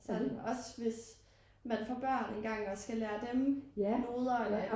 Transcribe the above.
Sådan også hvis man får børn engang og skal lære dem noder eller